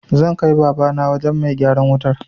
Zan kai Babana wajen mai gyaran wutar.